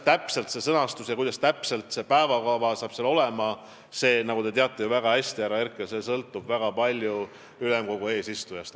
Te ju teate väga hästi, härra Herkel, et see täpne sõnastus ja täpne päevakava sõltuvad väga palju ülemkogu eesistujast.